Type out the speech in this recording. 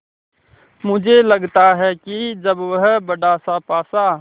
मुझे लगता है कि जब वह बड़ासा पासा